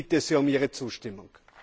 Ich bitte Sie um Ihre Zustimmung!